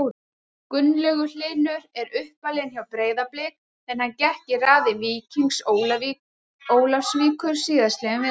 Gunnlaugur Hlynur er uppalinn hjá Breiðabliki en hann gekk í raðir Víkings Ólafsvíkur síðastliðinn vetur.